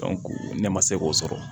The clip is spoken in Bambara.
ne ma se k'o sɔrɔ